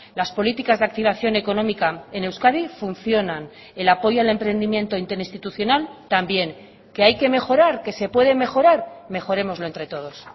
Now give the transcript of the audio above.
las políticas de activación económica en euskadi funcionan el apoyo al emprendimiento interinstitucional también que hay que mejorar que se puede mejorar mejorémoslo entre todos